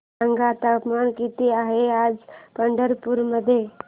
सांगा तापमान किती आहे आज पंढरपूर मध्ये